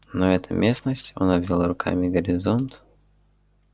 но эта местность он обвёл руками горизонт